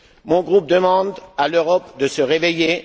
Mon groupe demande à l'Europe de se réveiller.